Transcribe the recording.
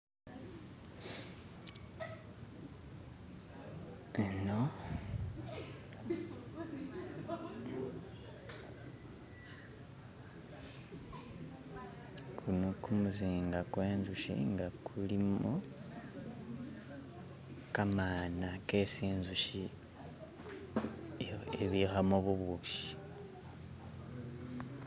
Eno kumuzinga kwe nzushi nga kulimo kamaana kesi inzushi ibikhamo bubushi.